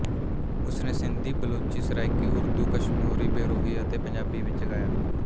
ਉਸ ਨੇ ਸਿੰਧੀ ਬਲੋਚੀ ਸਰਾਇਕੀ ਉਰਦੂ ਕਸ਼ਮੋਰੀ ਬੇਰੋਹੀ ਅਤੇ ਪੰਜਾਬੀ ਵਿੱਚ ਗਾਇਆ